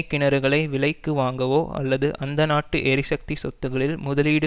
கிணறுகளை விலைக்கு வாங்கவோ அல்லது அந்த நாட்டு எரிசக்தி சொத்துக்களில் முதலீடு